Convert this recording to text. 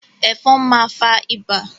Ẹ̀fọn ma fa ibà.